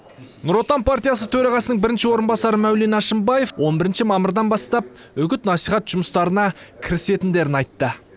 нұр отан партиясы төрағасының бірінші орынбасары мәулен әшімбаев он бірінші мамырдан бастап үгіт насихат жұмыстарына кірісетіндерін айтты